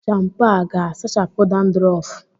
Shampo a ga-asachapu Dandurofu?